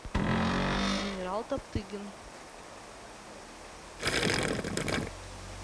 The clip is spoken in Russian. генерал топтыгин